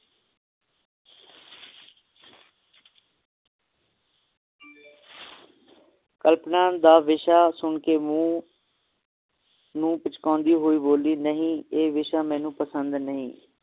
ਕਲਪਨਾ ਦਾ ਵਿਸ਼ਾ ਸੁਨ ਕੇ ਮੂੰਹ ਪਿਛਕਾਉਂਦੀ ਹੋਈ ਬੋਲੀ ਨਹੀਂ ਇਹ ਵਿਸ਼ਾ ਮੈਨੂੰ ਪਸੰਦ ਨਹੀਂ